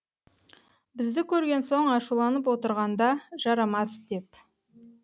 бізді көрген соң ашуланып отырғанда жарамас деп